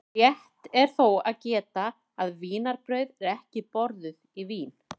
Rétt er þó að geta að vínarbrauð eru ekki borðuð í Vín.